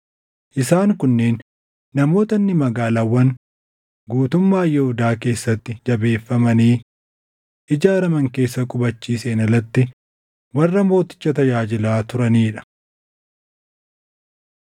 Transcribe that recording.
Isaan kunneen namoota inni magaalaawwan guutummaa Yihuudaa keessatti jabeeffamanii ijaaraman keessa qubachiiseen alatti warra mooticha tajaajilaa turanii dha.